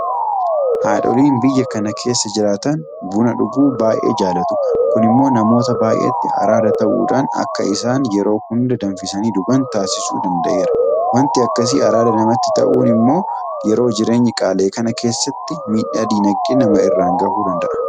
Haadholiin biyya kana keessa jiraatan buna dhuguu baay'ee jaalatu. Kun immoo namoota baay'eetti araada ta'uudhaan akka isaan yeroo hunda danfisanii dhugan taasisuu danda'eera. waanti akkasii araada namatti ta'uun immoo yeroo jireenyi qaala'e kana keessa miidhaa diinagdee nama irraan gahuu danda'a.